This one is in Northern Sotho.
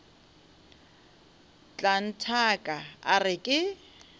tla nthaka a re ke